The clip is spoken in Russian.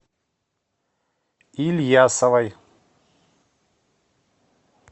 ильясовой